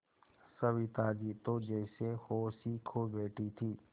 सविता जी तो जैसे होश ही खो बैठी थीं